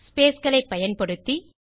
space களை பயன்படுத்தி